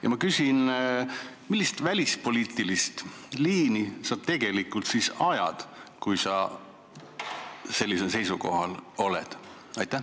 Ja ma küsin: millist välispoliitilist liini sa tegelikult siis ajad, kui sa sellisel seisukohal oled?